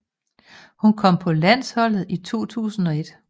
Hun kom på landsholdet i 2001